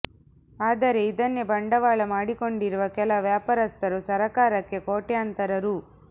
ಆದರೆ ಇದನ್ನೇ ಬಂಡವಾಳ ಮಾಡಿಕೊಂಡಿರುವ ಕೆಲ ವ್ಯಾಪಾರಸ್ಥರು ಸರಕಾರಕ್ಕೆ ಕೋಟ್ಯಂತರ ರೂ